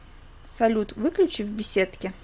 салют выключи в беседке